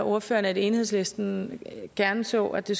ordføreren at enhedslisten gerne så at det